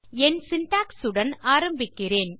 என் syntax உடன் ஆரம்பிக்கிறேன்